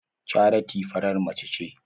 Charity farar mace ce.